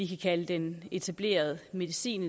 kalde den etablerede medicin